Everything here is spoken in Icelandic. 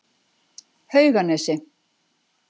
Hauganesi